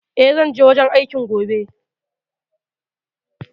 E, zan je wajen aikin gobe.